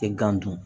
Tɛ gan dun